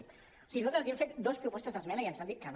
o sigui nosaltres els hem fet dues propostes d’esmena i ens han dit que no